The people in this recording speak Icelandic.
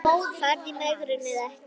Farðu í megrun eða ekki.